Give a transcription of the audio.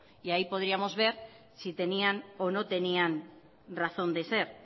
y ahí podríamos ver si tenían o no tenían razón de ser